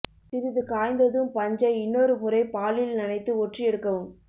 சிறிது காய்ந்ததும் பஞ்சை இன்னொரு முறை பாலில் நனைத்து ஒற்றி எடுக்கவும்